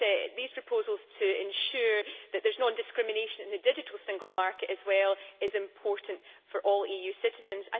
These proposals to ensure that there is non discrimination in the digital single market as well are important for all EU citizens.